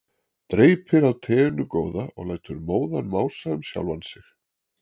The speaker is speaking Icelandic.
Dreypir á teinu góða og lætur móðan mása um sjálfan sig.